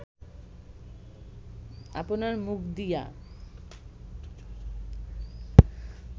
আপনার মুখ দিয়া